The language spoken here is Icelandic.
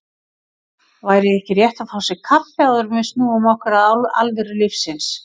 Væri ekki rétt að fá sér kaffi, áður en við snúum okkur að alvöru lífsins.